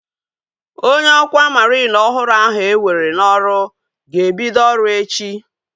Onye ọkwá mariin ọhụrụ ahu ewere n'ọrụ ga-ebido ọrụ echi